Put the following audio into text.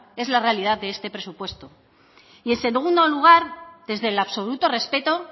es la realidad de este presupuesto y en segundo lugar desde el absoluto respeto